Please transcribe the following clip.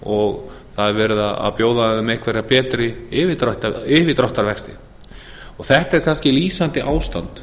það er verið að bjóða þeim einhverja betri yfirdráttarvexti þetta er kannski lýsandi ástand